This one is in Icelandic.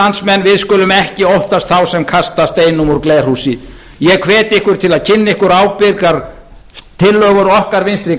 landsmenn við skulum ekki óttast þá sem kasta steinum úr glerhúsi ég hvet ykkur til að kynna ykkur ábyrgar tillögur okkar vinstri